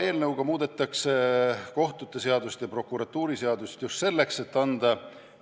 Eelnõuga muudetakse kohtute seadust ja prokuratuuriseadust just selleks, et anda